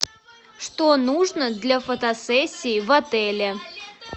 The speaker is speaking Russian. что нужно для фотосессии в отеле